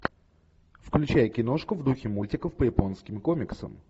включай киношку в духе мультиков по японским комиксам